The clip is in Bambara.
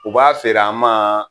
U b'a feer'an ma